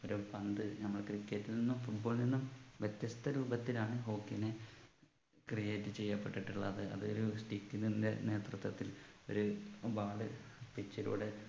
ഒരു പന്ത് നമ്മൾ Cricket ൽ നിന്നും Football ൽ നിന്നും വ്യത്യസ്ത രൂപത്തിലാണ് hockey നെ create ചെയ്യപ്പെട്ടിട്ടുള്ളത് അത് ഒരു stick ൻ്റെ നേതൃത്വത്തിൽ ഒരു ball pitch ലൂടെ